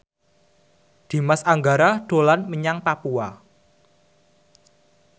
Dimas Anggara dolan menyang Papua